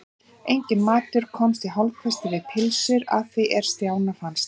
Enginn matur komst í hálfkvisti við pylsur að því er Stjána fannst.